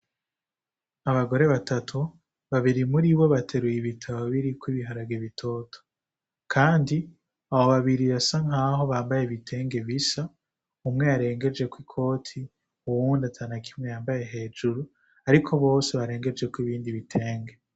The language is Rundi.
Abagore batatu, babiri muribo bateruye ibitaro birikw 'ibiharage bitoto. Kandi abo babiri basa nkaho bambay'ibitenge bisa umwe yarengejeko ikoti ,uwundi atanakimwe yambaye hejuru ariko bose barengejeko ibindi bitenge.